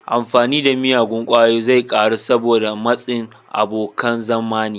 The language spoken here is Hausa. Amfani da miyagun ƙwayoyi zai ƙaru saboda matsin abokan zamani.